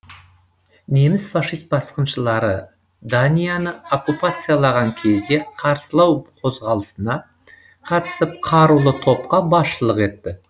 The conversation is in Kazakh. неміс фашист басқыншылары данияны окуппациялаған кезде қарсылау қозғалысына қатысып қарулы топқа басшылық етті